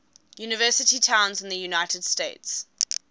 university towns in the united states